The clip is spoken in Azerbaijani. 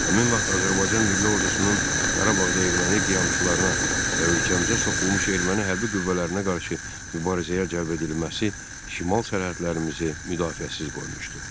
Həmin vaxt Azərbaycan milli ordusunun Qarabağda erməni qiyamçılarına və ölkəmizə soxulmuş erməni hərbi qüvvələrinə qarşı mübarizəyə cəlb edilməsi şimal sərhədlərimizi müdafiəsiz qoymuşdu.